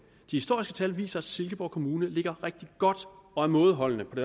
historiske tal viser at silkeborg kommune ligger rigtig godt og er mådeholdende på